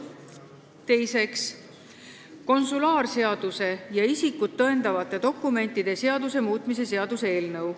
Teiseks, konsulaarseaduse ja isikut tõendavate dokumentide seaduse muutmise seaduse eelnõu.